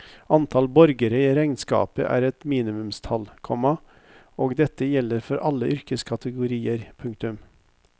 Antall borgere i regnskapet er et minimumstall, komma og dette gjelder for alle yrkeskategorier. punktum